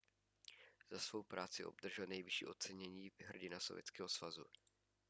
za svou práci obdržel nejvyšší ocenění hrdina sovětského svazu